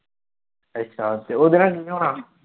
ਅੱਛਾ ਤੇ ਉਹਦੇ ਨਾਲ ਕੀ ਹੋਣਾ।